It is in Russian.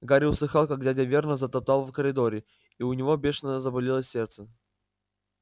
гарри услыхал как дядя вернон затоптал в коридоре и у него бешено заболело сердце